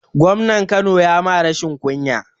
Gwamnan kano ya ma rashin kunya